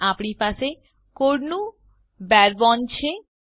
અહીં આપણી પાસે કોડનું બારે બોને છે